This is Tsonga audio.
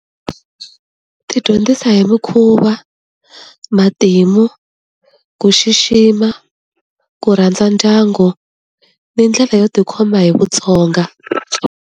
Ti dyondzisa hi mukhuva, matimu, ku xixima, ku rhandza ndyangu, ni ndlela yo tikhoma hi vutsonga.